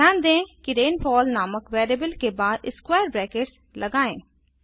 ध्यान दें कि रेनफॉल नामक वेरिएबल के बाद स्क्वायर ब्रैकेट्स लगाएं